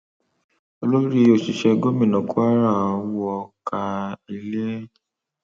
olórí òṣìṣẹ gómìnà kwara wọ káà ilé